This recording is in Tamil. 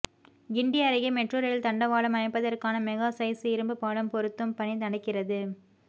கிண்டி அருகே மெட்ரோ ரயில் தண்டவாளம் அமைப்பதற்கான மெகா சைஸ் இரும்பு பாலம் பொருத்தும் பணி நடக்கிறது